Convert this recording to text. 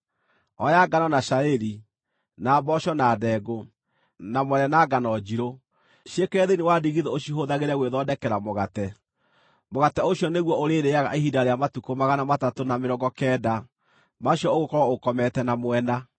“Oya ngano na cairi, na mboco na ndengũ, na mwere na ngano njirũ; ciĩkĩre thĩinĩ wa ndigithũ ũcihũthagĩre gwĩthondekera mũgate. Mũgate ũcio nĩguo ũrĩrĩĩaga ihinda rĩa matukũ magana matatũ na mĩrongo kenda macio ũgũkorwo ũkomete na mwena.